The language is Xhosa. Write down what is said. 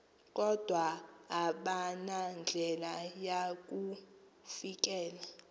kodwa abanandlela yakufikelela